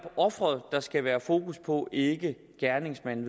ofret der skal være fokus på og ikke gerningsmanden